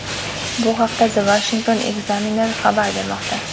Bu haqda The Washington Examiner xabar bermoqda .